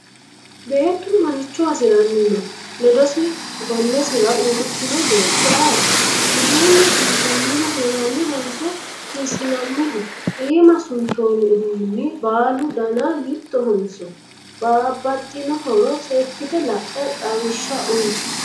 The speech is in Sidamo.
Beetu maricho hasiranni no? ledosi gonnesira uuritinoti beetto ayiiti? uduunnu suntoonnihu hirannihonso hiisinnanniho? iima suntoonni uduunni baalu danna mittohonso babaxinohoro seekite la'e xawisha uyi?